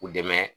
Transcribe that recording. U dɛmɛ